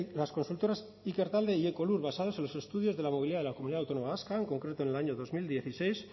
las consultoras ikertalde y ekolur basados en los estudios de la movilidad de la comunidad autónoma vasca en concreto en el año dos mil dieciséis